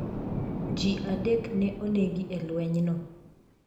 Ji adek ne onegi e lwenyno.